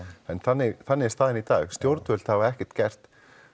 en þannig þannig er staðan í dag stjórnvöld hafa ekkert gert